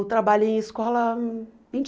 Eu trabalhei em escola vinte